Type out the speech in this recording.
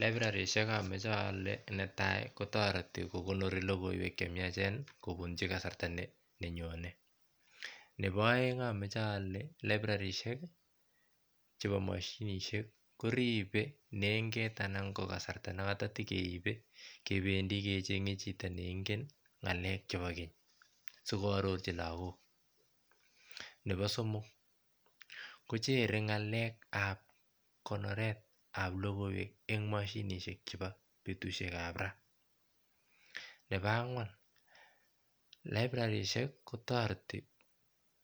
Librarishek imoche ole netai kokonori lolgoiwek chemiacheni kobunchi kasarta nenyone nepo oeng amoche ole librarishek chepo moshinishek koripe nenget anan ko kasarta notok chetekeibe kebendi kechenge chito neingen ngalek chepo keny sikoarirch lagok nepo somok kochere ngalekap konoretab logiiwek en moshinishek ab betushekab raa nepo angwan kotoreti